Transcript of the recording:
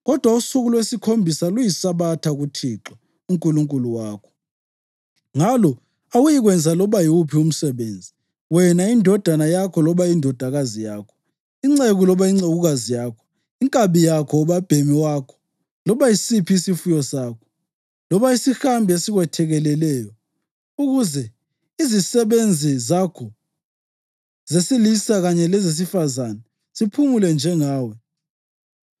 kodwa usuku lwesikhombisa luyiSabatha kuThixo uNkulunkulu wakho. Ngalo awuyikwenza loba yiwuphi umsebenzi, wena, indodana yakho loba indodakazi yakho, inceku loba incekukazi yakho, inkabi yakho, ubabhemi wakho loba yisiphi isifuyo sakho, loba isihambi esikwethekeleleyo, ukuze izisebenzi zakho zesilisa kanye lezesifazane ziphumule njengawe.